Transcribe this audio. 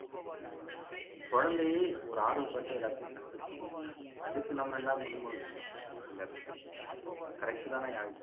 குழந்தையே ஒரு ஆர்வபட்டு எல்லாத்தையும் கத்துக்கணும் அதுக்கு நம்ம எல்லாம் அந்த இடத்தை correct தானே யாழிசை